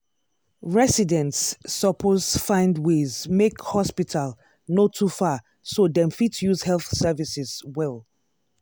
residents suppose find ways make hospital no too far so dem fit use health services well.